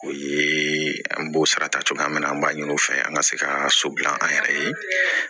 O ye an b'o sara ta cogoya min na an b'a ɲini o fɛ an ka se ka so dilan an yɛrɛ ye